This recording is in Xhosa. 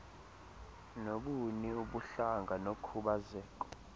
nobuni ubuhlanga nokhubazeko